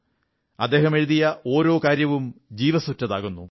അദ്ദേഹം എഴുതിയ ഓരോ കാര്യവും ജീവസ്സുറ്റതാകുന്നു